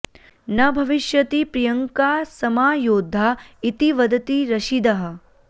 न भविष्यति प्रियङ्का समा योद्धा इति वदति रशीदः